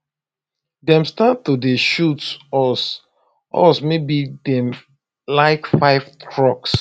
dem start to dey shoot us us maybe like five trucks